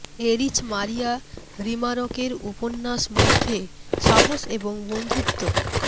Erich Maria Remarque এর উপন্যাস মধ্যে সাহস এবং বন্ধুত্ব